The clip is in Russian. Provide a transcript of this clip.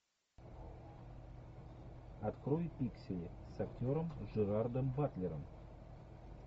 открой пиксели с актером джерардом батлером